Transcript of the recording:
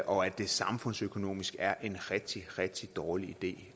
og at det samfundsøkonomisk er en rigtig rigtig dårlig idé